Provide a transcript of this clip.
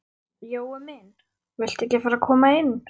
Jói minn. viltu ekki fara að koma inn?